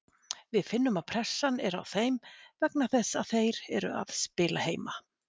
Við finnum að pressan er á þeim vegna þess að þeir eru að spila heima.